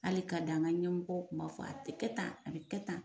Hali k'a dan ɲɛmɔgɔ tun b'a fɔ a kɛ tan a tɛ kɛ tan